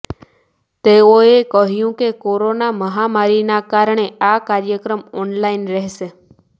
તેઓએ કહ્યું કે કોરોના મહામારીના કારણે આ કાર્યક્રમ ઓનલાઈન રહેશે